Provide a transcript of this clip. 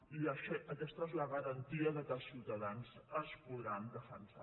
i aquesta és la garantia que els ciutadans es podran defensar